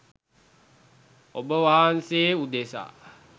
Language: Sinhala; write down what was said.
ඔබවහන්සේ උදෙසා